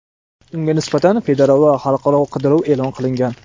Unga nisbatan federal va xalqaro qidiruv e’lon qilingan.